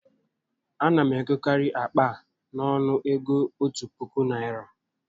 A na m egokarị akpa a n'ọnụ ego òtù puku Naịra